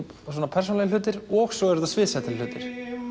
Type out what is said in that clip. persónulegir hlutir og svo er þetta sviðsettir hlutir